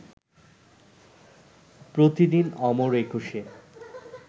প্রতিদিন অমর একুশে